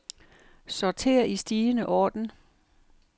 Sorter i stigende orden.